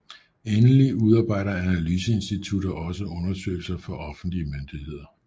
Endelig udarbejder analyseinstitutter også undersøgelser for offentlige myndigheder